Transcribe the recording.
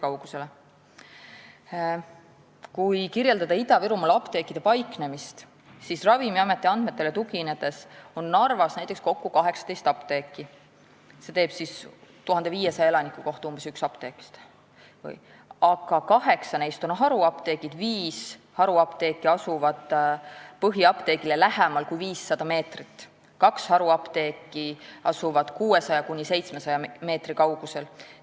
" Kui kirjeldada Ida-Virumaa apteekide paiknemist, siis Ravimiameti andmetele tuginedes on Narvas näiteks kokku 18 apteeki – see teeb umbes ühe 1500 elaniku kohta –, aga kaheksa neist on haruapteegid, millest viis asuvad põhiapteegile lähemal kui 500 meetrit ja kaks asuvad 600–700 meetri kaugusel.